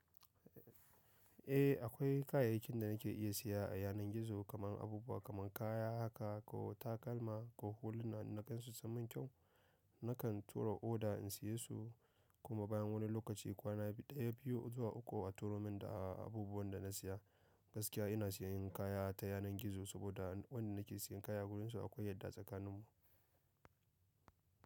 Eh akwai kayayyakin da nake iya siya a yanar gizo kamar abubuwa kamar kaya haka ko takalma ko huluna in na gansu sun mun kyau. Nakan tura oda in siye su kuma bayan wani lokaci kwana ɗaya biyu zuwa uku ko a turomin da abubuwan da na siya. Gaskiya ina sayan kaya ta yanar gizo saboda wanda nake sayan kaya a gurin su akwai yadda tsakanin mu.